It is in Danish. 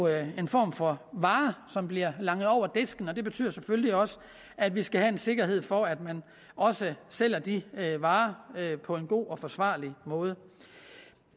en form for vare som bliver langet over disken og det betyder selvfølgelig også at vi skal have en sikkerhed for at man også sælger de varer på en god og forsvarlig måde